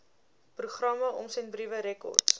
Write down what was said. programme omsendbriewe rekords